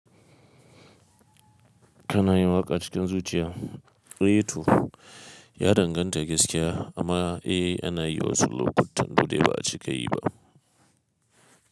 Kana yin waƙa cikin zuciya, eh to ya danganta gaskiya amma eh ana yi wasu lokutan wanda ba a cika yi ba.